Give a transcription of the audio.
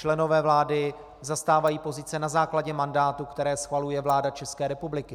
Členové vlády zastávají pozice na základě mandátů, které schvaluje vláda České republiky.